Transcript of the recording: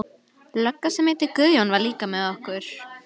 Lögga sem heitir Guðjón var líka með okkur.